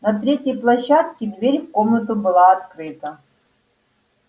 на третьей площадке дверь в комнату была открыта